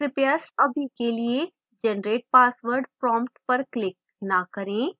कृपया अभी के लिए generate password prompt पर click न करें